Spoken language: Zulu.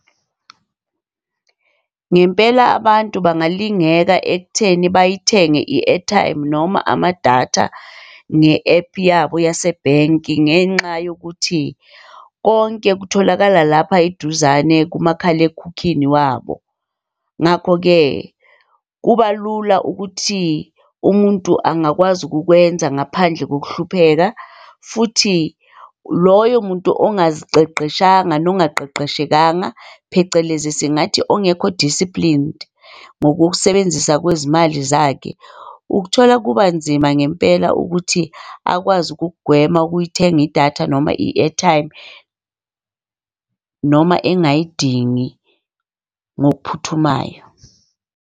Ngempela abantu bangalingeka ekutheni bayithenge i-airtime noma amadatha nge-app yabo yasebhenki ngenxa yokuthi konke kutholakala lapha iduzane kumakhalekhukhini wabo. Ngakho-ke kuba lula ukuthi umuntu angakwazi ukukwenza ngaphandle kokuhlupheka. Futhi loyo muntu ongaziqeqeshanga nongaqeqeshekanga phecelezi singathi ongekho-disciplined ngokusebenzisa kwezimali zakhe, ukuthola kuba nzima ngempela ukuthi akwazi ukugwema ukuy'thenga idatha noma i-airtime noma engayidingi ngokuphuthumayo.